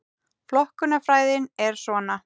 Flokkunarfræðin er svona: